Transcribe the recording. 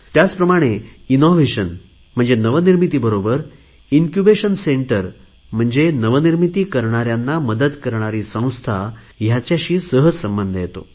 त्याचप्रमाणे नवनिर्मितीबरोबर incubation centre म्हणजे नवनिर्मिती करणाऱ्यांना मदत करणारी संस्था हयांचा सगळयांशी सहज संबंध येतो